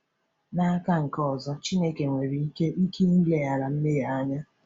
N’aka nke ọzọ, Chineke nwere ike ike ileghara mmehie anya.